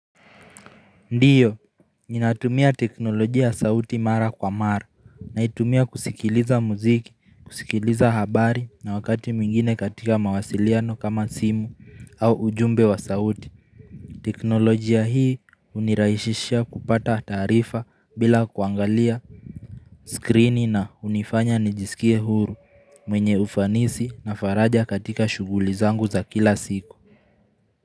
Ndio, ninatumia teknolojia sauti mara kwa mara, naitumia kusikiliza muziki, kusikiliza habari na wakati mwingine katika mawasiliano kama simu au ujumbe wa sauti. Teknolojia hii hunirahishishia kupata taarifa bila kuangalia skrini na hunifanya nijisikie huru mwenye ufanisi na faraja katika shuguli zangu za kila siku.